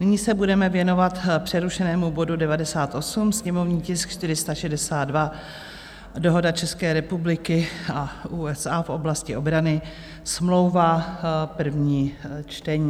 Nyní se budeme věnovat přerušenému bodu 98, sněmovní tisk 462, dohoda České republiky a USA v oblasti obrany, smlouva, první čtení.